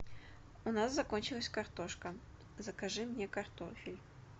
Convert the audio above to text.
у нас закончилась картошка закажи мне картофель